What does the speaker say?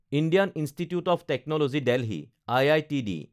Indian institute of technology Delhi (IITD)